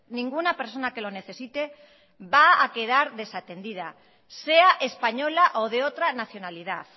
ninguna persona que lo necesite va a quedar desatendida sea española o de otra nacionalidad